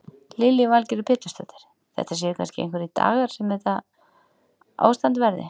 Lillý Valgerður Pétursdóttir: Þetta séu kannski einhverjir dagar sem þetta ástand verði?